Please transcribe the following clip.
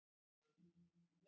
Apríl næstkomandi.